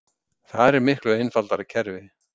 Þar er miklu einfaldara kerfi